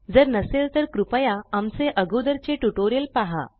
जर नसेल तर कृपया आमचे अगोदरचे ट्यूटोरियल पहा